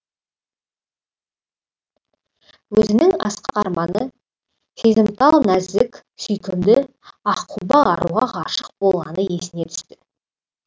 өзінің асқақ арманы сезімтал нәзік сүйкімді аққұба аруға ғашық болғаны есіне түсті